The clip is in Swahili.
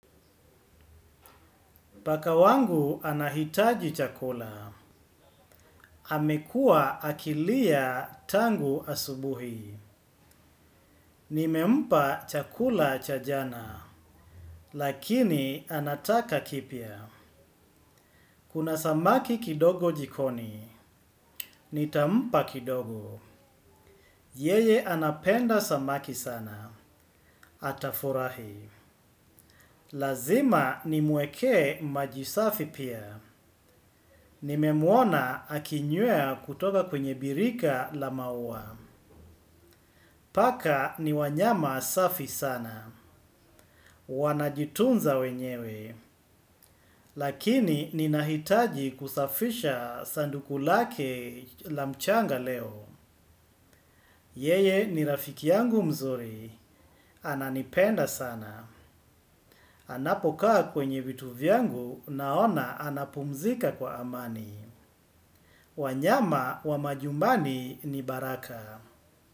Pakawangu anahitaji chakula, amekua akilia tangu asubuhi. Nimempa chakula cha jana, lakini anataka kipya. Kuna samaki kidogo jikoni, nitampa kidogo. Yeye anapenda samaki sana, atafurahi. Lazima nimweke maji safi pia. Nimemwona akinywea kutoka kwenye birika la maua. Paka ni wanyama safi sana. Wanajitunza wenyewe. Lakini ni nahitaji kusafisha sanduku lake la mchanga leo. Yeye ni rafiki yangu mzuri. Ananipenda sana. Anapokaa kwenye vitu vyangu naona anapumzika kwa amani. Wanyama wa majumbani ni baraka.